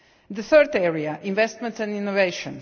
The third area is investment and innovation.